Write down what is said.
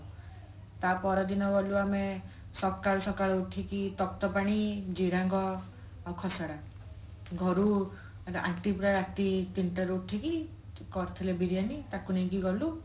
ତା ପର ଦିନ ଗଲୁ ଆମେ ସକାଳୁ ସକାଳୁ ଉଠିକି ତପ୍ତପାଣି ଜିରାଙ୍ଗ ଆଉ ଖସଡା ଘରୁ aunty ପୁରା ରାତି ତିନିଟା ରୁ ଉଠିକି କରିଥିଲେ ବିରିୟାନୀ ତାକୁ ନେଇକି ଗଲୁ